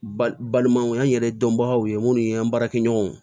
Balimaw y'an yɛrɛ dɔnbagaw ye minnu ye an baarakɛɲɔgɔnw ye